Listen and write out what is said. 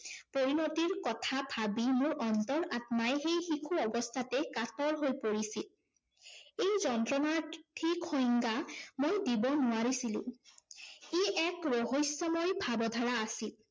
পৰিণতিৰ কথা ভাবি মোৰ অন্তৰ আত্মাই সেই শিশু অৱস্থাতেই কাতৰ হৈ পৰিছিল। এই যন্ত্ৰণাৰ ঠিক সংজ্ঞা ম‍ই দিব নোৱাৰিছিলো। ই এক ৰহস্যময় ভাৱধাৰা আছিল।